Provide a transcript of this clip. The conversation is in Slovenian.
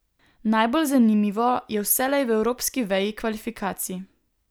Najbolj zanimivo je vselej v evropski veji kvalifikacij.